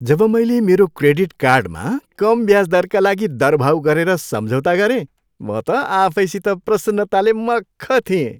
जब मैले मेरो क्रेडिट कार्डमा कम ब्याज दरका लागि दरभाउ गरेर सम्झौता गरेँ, म त आफैसित प्रसन्नताले मख्ख थिएँ।